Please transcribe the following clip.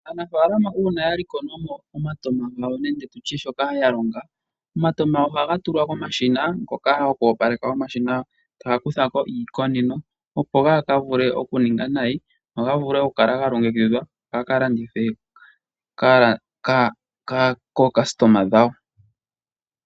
Aanafaalama uuna ya likola mo omatama gawo nenge tu tye shoka ya longa, omatama ohaga tulwa komashina ngoka gokwoopaleka omashina, taya kutha ko iikoneno opo gaa ka vule okuninga nayi, go ga vule okukala ga longekidhwa ga ka landithwe kaalandi yawo.